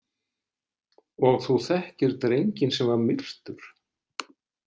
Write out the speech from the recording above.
Og þú þekkir drenginn sem var myrtur?